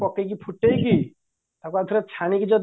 ପକେଇକି ଫୁଟେଇକି ତାକୁ ଆଉଥରେ ଛାଣିକି ଯଦି